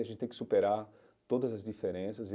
E a gente tem que superar todas as diferenças.